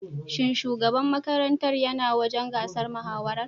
Shin shugaban makarantar ya na wajen gasar mahawarar?